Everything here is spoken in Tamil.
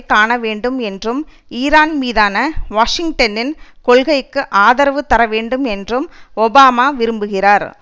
காணவேணடும் என்றும் ஈரான் மீதான வாஷிங்டனின் கொள்கைக்கு ஆதரவு தரவேண்டும் என்றும் ஒபாமா விரும்புகிறார்